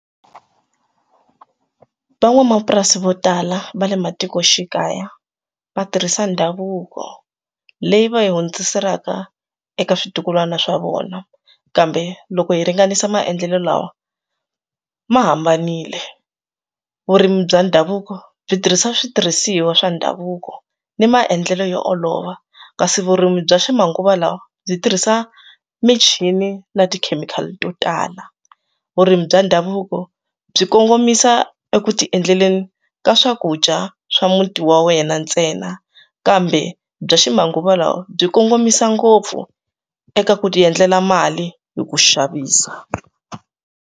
Van'wamapurasi vo tala va le matikoxikaya va tirhisa ndhavuko leyi va yi hundziselaka eka switukulwana swa vona kambe loko hi ringanisa maendlelo lawa ma hambanile vurimi bya ndhavuko byi tirhisa switirhisiwa swa ndhavuko ni maendlelo yo olova kasi vurimi bya ximanguva lawa byi tirhisa michini na tikhemikhali to tala vurimi bya ndhavuko byi kongomisa eku ta endleleni ka swakudya swa muti wa wena ntsena kambe bya ximanguva lawa byi kongomisa ngopfu eka ku ti endlela mali hi ku xavisa.